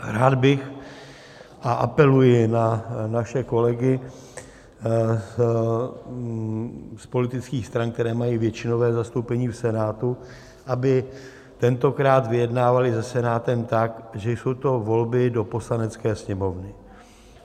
Rád bych - a apeluji na naše kolegy z politických stran, které mají většinové zastoupení v Senátu - aby tentokrát vyjednávali se Senátem tak, že jsou to volby do Poslanecké sněmovny.